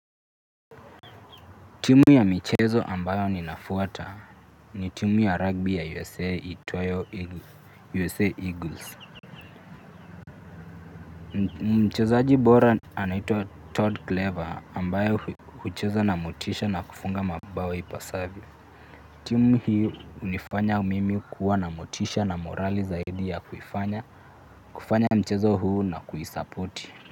Timu ya michezo ambayo ninafwata ni timu ya rugby ya USA iitwayo USA eagles. Mchezo bora anaitwa Todd Clever ambaye huchezo namotisha nakufunga mabao ipasavyo. Timu hio hunifanya mimi kuwa namotisha na morali zaidi ya kuifanya mchezo huu na kuisapoti.